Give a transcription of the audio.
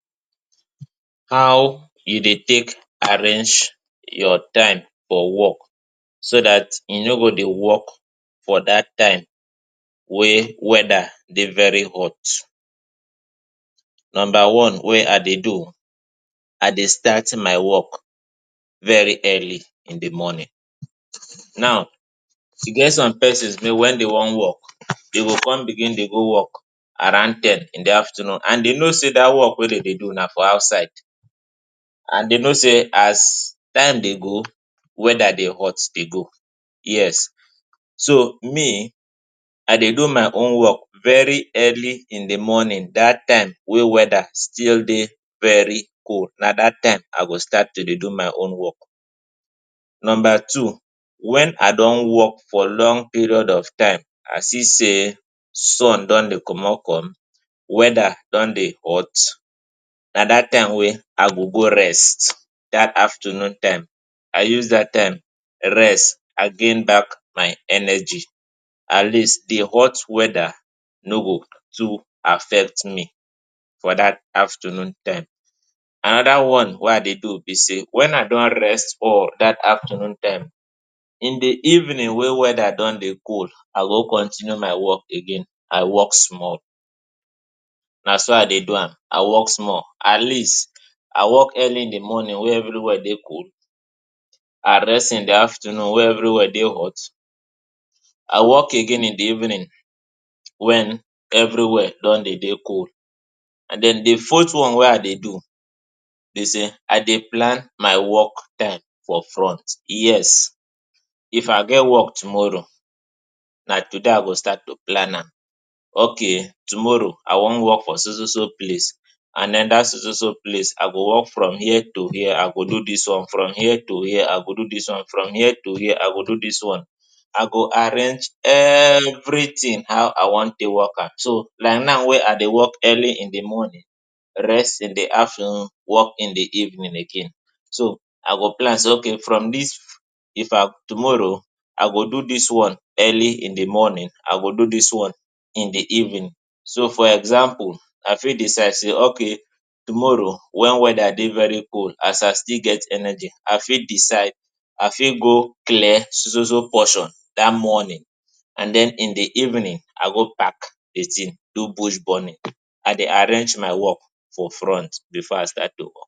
How e dey take arrange your time for wok so that e no go dey wok for dat time wey weather dey very hot. Numba one wey I dey do, I dey start my wok very early in di morning. Now, e get some pesins wey wen dem wan wok, dem go come begin dey go wok around ten in di afternoon, and dem know say dat wok wey dem dey do na for outside, and dem know say as time dey go, weather dey hot dey go. Yes. So me, I dey do my own wok very early in di morning. Dat time wey weather still dey very cold, na dat time I go start to dey do my own wok. Numba two, wen I don wok for long period of time, I see say sun don dey comot, come weather don dey hot, na dat time wey I go go rest. Dat afternoon time, I go use dat time rest and gain back my energy. At least di hot weather no go too affect me for dat afternoon time. Anoda one wey I dey do be sey, wen I don rest for dat afternoon time, in di evening wey weather don dey cool, I go continue my wok again. I wok small. Na so I dey do am. I wok small. At least I wok early in di morning wey evri wia dey cold, and rest in di afternoon wey evri wia dey hot. I wok again in di evening wen evri wia don dey cold. And den di fourth one wey I dey do be say I dey plant my wok time for front. Yes. If I get wok tomorrow, na today I go start to plant am. Okay, tomorrow I wan wok for so so place and anoda so so place. I go wok from here to here, I go do dis one from here to here, I go do dis one from here to here. I go arrange evritin how I wan take wok am. Like now wey I dey wok early in di morning, rest in afternoon, wok in di evening again. So I go plant say okay, if na tomorrow, I go do dis one early in di morning, I go do dis one in di evening. So for example, I fit decide say okay, tomorrow wen weather dey very cold, as I still get energy, I fit decide I fit go clear so so portion dat morning, and den in di evening, I go back do di tin, do bush burning. I dey arrange my wok for front before I start do am.